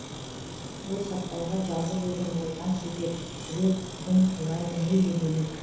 ой саптауға жалғыз өзің болған себеп жүрек бүгін тулайды мүлде бөлек